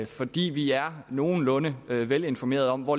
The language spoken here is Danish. fordi vi er nogenlunde velinformeret om hvor